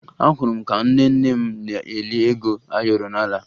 Ahụrụ m ka nne nne m na-eli ego ayọrọ n'ala